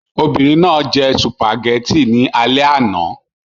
Obìnrin náà jẹ spaghetti ní alẹ́ àná